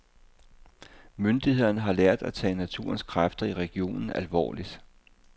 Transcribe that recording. Myndighederne har lært at tage naturens kræfter i regionen alvorligt.